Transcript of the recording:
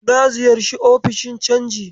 Na ziyarci ofishin canji.